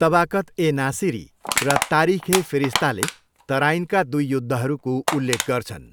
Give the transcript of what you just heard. तबाकत ए नासिरी र तारिख ए फिरिस्ताले तराइनका दुई युद्धहरूको उल्लेख गर्छन्।